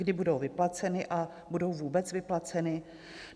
Kdy budou vyplaceny, a budou vůbec vyplaceny?